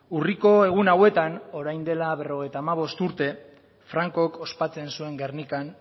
urriko egun hauetan orain dela berrogeita hamabost urte francok ospatzen zuen gernikan